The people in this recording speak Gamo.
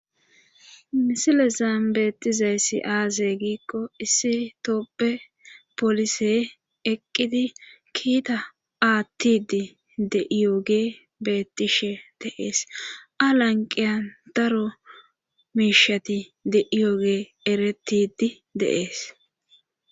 misile zambeettizayssi aazey giikko issi tooppe polisey eqqidi kiita aattidi de7iyoge bettishe deees alanqiyan daro miishati deiyoge eretidi deees